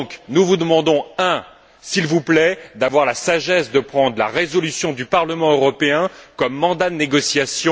Nous vous demandons donc, s'il vous plaît, d'avoir tout d'abord la sagesse de prendre la résolution du Parlement européen comme mandat de négociation.